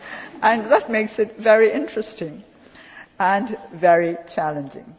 And that makes it very interesting and very challenging.